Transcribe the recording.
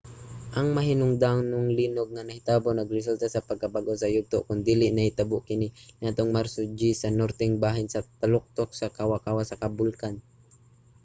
ang mahinungdanong linog nga nahitabo nagresulta sa pagkabag-o sa yugto kon diin nahitabo kini niadtong marso 10 sa norteng bahin sa taluktok sa kawa-kawa sa bulkan